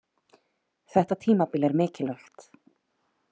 Þetta tímabil er mikilvægt.